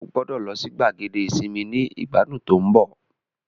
O gbọdọ lọ si gbàgede isinmi ni igbadun to n bo